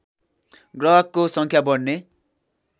ग्रहको सङ्ख्या बढ्ने